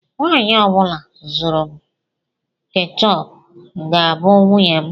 Nwanyị ọ bụla zụrụ m keechup ga-abụ nwunye m.